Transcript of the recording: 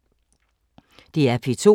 DR P2